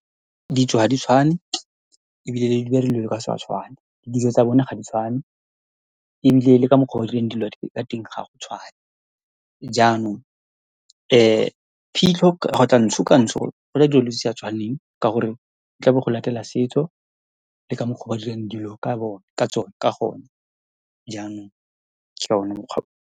Ditso ha di tshwane ebile le tshwane, dijo tsa bone ga di tshwane, ebile le ka mokgwa o dirang dilo ka teng ga go tshwane. Jaanong phitlho kgotsa ntsho, ka ntsho dira dilo tse di sa tshwaneng, ka gore go go latela setso le ka mokgwa o ba dirang dilo ka , ka tsone, ka gone jaanong ke one mokgwa.